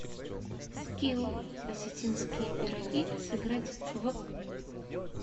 скилл осетинские пироги сыграть в